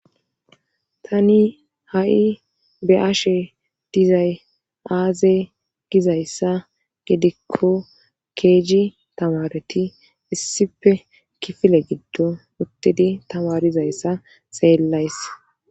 tani ha7i be'ashe dizay aaze gizayssa gidikko keeji tamareti issipe kifile giddo uttedi tamarizayssa xellays